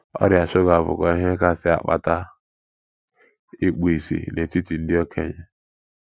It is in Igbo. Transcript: Ọrịa shuga bụkwa ihe kasị akpata ikpu ìsì n’etiti ndị okenye.